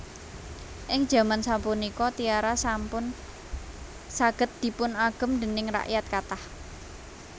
Ing jaman sapunika tiara sampun saged dipunagem déning rakyat kathah